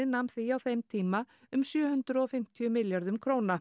nam því á þeim tíma um sjö hundruð og fimmtíu milljörðum króna